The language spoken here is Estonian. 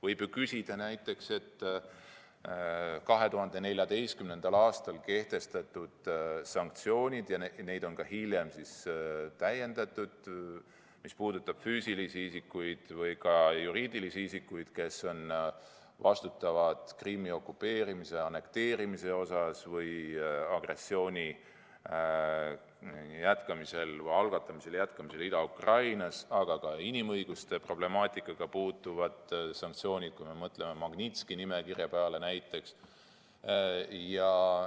Võib ju küsida näiteks 2014. aastal kehtestatud sanktsioonide kohta, neid on hiljem täiendatud, mis puudutab füüsilisi isikuid või ka juriidilisi isikuid, kes on vastutavad Krimmi okupeerimise ja annekteerimise eest või agressiooni algatamise ja jätkamise eest Ida-Ukrainas, aga ka inimõiguste problemaatikaga seotud sanktsioonide kohta, kui mõtleme näiteks Magnitski nimekirja peale.